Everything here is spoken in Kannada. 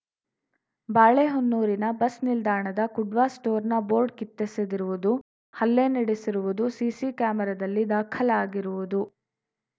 ಬಾಳೆಹೊನ್ನೂರಿನ ಬಸ್‌ ನಿಲ್ದಾಣದ ಕುಡ್ವ ಸ್ಟೋರ್‌ನ ಬೋರ್ಡ್‌ ಕಿತ್ತೆಸೆದಿರುವುದು ಹಲ್ಲೆ ನಡೆಸಿರುವುದು ಸಿಸಿ ಕ್ಯಾಮೆರಾದಲ್ಲಿ ದಾಖಲಾಗಿರುವುದು